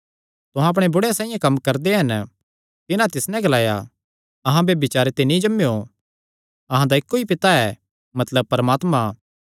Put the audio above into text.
तुहां अपणे बुढ़े साइआं कम्म करदे हन तिन्हां तिस नैं ग्लाया अहां ब्यभिचारे ते नीं जम्मेयो अहां दा इक्को ई पिता ऐ मतलब परमात्मा